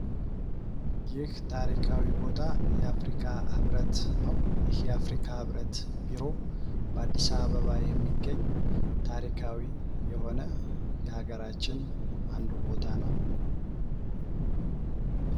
ይህ ታሪካዊ ቦታ የአፍሪካ ህብረት ነው። ይህ የአፍሪካ ህብረት ቤሮ በአዲስ አበባ የሚገኝ ታሪካዊ የሆነ የሀገራችን አንዱ ቦታ ነው።